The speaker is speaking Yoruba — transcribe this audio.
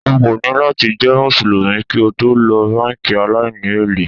O kò ní láti jẹ́ Mùsùlùmí kí o tó lo báńkì aláìní èlé.